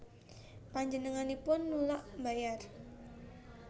Panjenenganipun nulak mbayar